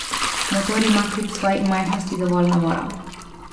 Motor ima kljub svoji majhnosti dovolj navora.